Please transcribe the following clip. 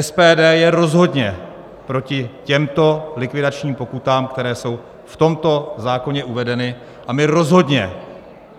SPD je rozhodně proti těmto likvidačním pokutám, které jsou v tomto zákoně uvedeny, a my rozhodně